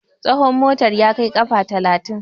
tsahon motar ya Kaiw kafa talatin